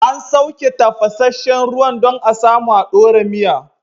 An sauke tafasashen ruwan dan a samu a dora miya